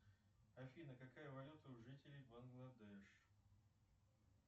афина какая валюта у жителей бангладеш